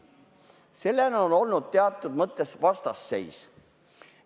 Sellele on olnud teatud mõttes vastuseis.